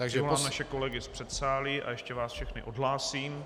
Přivolám naše kolegy z předsálí a ještě vás všechny odhlásím.